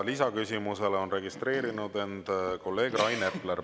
Lisaküsimusele on end registreerinud kolleeg Rain Epler.